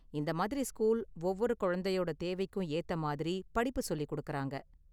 இந்த மாதிரி ஸ்கூல் ஒவ்வொரு குழந்தையோட தேவைக்கும் ஏத்த மாதிரி படிப்பு சொல்லிக் கொடுக்கறாங்க.